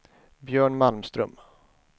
Björn Malmström